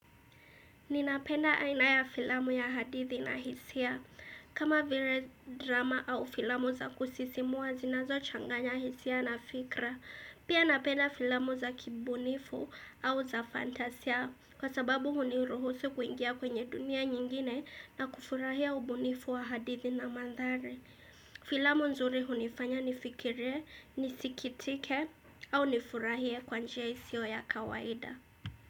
Ninapenda aina ya filamu ya hadithi na hisia. Kama vile drama au filamu za kusisimua zinazochanganya hisia na fikra. Pia napenda filamu za kibunifu au za fantasia. Kwa sababu huniruhusu kuingia kwenye dunia nyingine na kufurahia ubunifu wa hadithi na mandhari. Filamu nzuri hunifanya nifikire, nisikitike au nifurahie kwa njia isio ya kawaida.